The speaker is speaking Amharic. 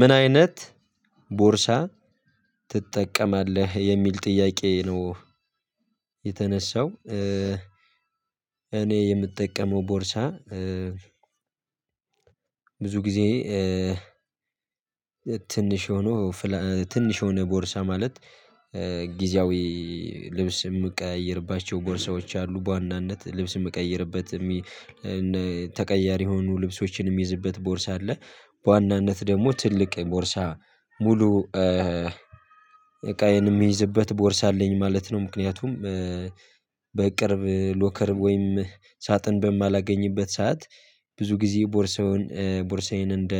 ምን አይነት ቦርሳ ትጠቀማለህ የሚል ጥያቄ ነው የተነሳው? እኔ የምጠቀመው ቦርሳ ብዙ ጊዜ ትንሽ ሆኖ ትንሽ የሆነ ቦርሳ ማለት ጊዜያዊ ልብስ የምቀያይርባቸው ቦርሳዎች አሉ በዋናነት ልብስ የምቀይርበት ተቀያሪ የሆኑ ልብሶችንም የምይዝበት ቦርሳ አለ። በዋናነት ደግሞ ትልቅ ቦርሳ ሙሉ እቃዬን የሚይዝበት ቦርሳ አለኝ ማለት ነው። ምክንያቱም በቅርብ ሎከር ወይም ሳጥን በማላገኝበት ሰዓት ብዙ ጊዜ ቦርሳውን ቦርሳዬን እንደ